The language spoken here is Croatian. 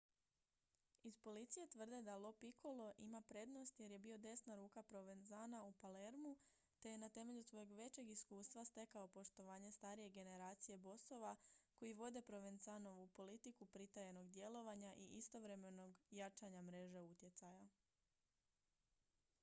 iz policije tvrde da lo piccolo ima prednost jer je bio desna ruka provenzana u palermu te je na temelju svojeg većeg iskustva stekao poštovanje starije generacije bosova koji vode provenzanovu politiku pritajenog djelovanja i istovremenog jačanja mreže utjecaja